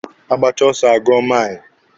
Agbacha ọsọ a gụọ maili.